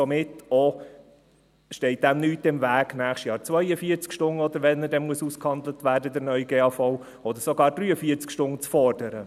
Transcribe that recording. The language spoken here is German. Somit steht dem nichts im Weg, nächstes Jahr, oder wann auch immer der neue GAV dann ausgehandelt werden muss, 42 oder sogar 43 Stunden zu fordern.